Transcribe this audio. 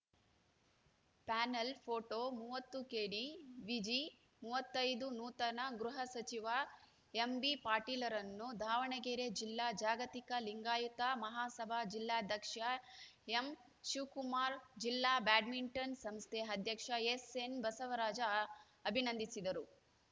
panel photo ಮೂವತ್ತು ಕೆಡಿವಿಜಿ ಮೂವತ್ತೈದು ನೂತನ ಗೃಹಸಚಿವ ಎಂಬಿಪಾಟೀಲ್‌ರನ್ನು ದಾವಣಗೆರೆ ಜಿಲ್ಲಾ ಜಾಗತಿಕ ಲಿಂಗಾಯತ ಮಹಾಸಭಾ ಜಿಲ್ಲಾಧ್ಯಕ್ಷ ಎಂಶಿವಕುಮಾರ ಜಿಲ್ಲಾ ಬ್ಯಾಡ್ಮಿಂಟನ್‌ ಸಂಸ್ಥೆ ಅಧ್ಯಕ್ಷ ಎಸ್‌ಎನ್‌ಬಸವರಾಜ ಅಭಿನಂದಿಸಿದರು